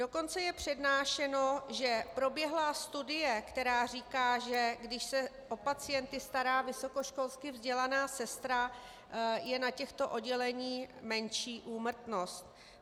Dokonce je přednášeno, že proběhla studie, která říká, že když se o pacienty stará vysokoškolsky vzdělaná sestra, je na těchto odděleních menší úmrtnost.